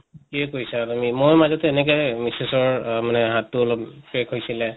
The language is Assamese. ঠিকে কৈছা ময়ো মাজতে এনেকে মিচেচৰ আহ মানে হাত টো অলপ crack হৈছিলে